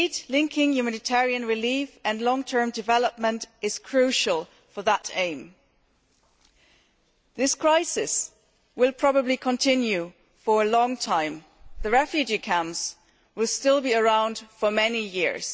Linking humanitarian relief and long term development is crucial for that aim. This crisis will probably continue for a long time and the refugee camps will be around for many years.